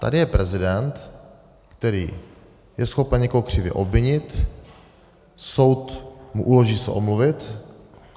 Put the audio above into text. Tady je prezident, který je schopen někoho křivě obvinit, soud mu uloží se omluvit.